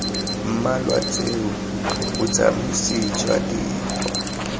mmalwa tseo botsamisi jwa dikgwa